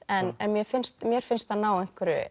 en mér finnst mér finnst hann ná